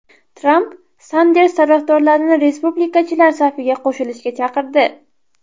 Tramp Sanders tarafdorlarini respublikachilar safiga qo‘shilishga chaqirdi.